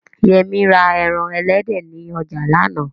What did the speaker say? Yẹmí ra ẹran elédè ni ọjà lánàá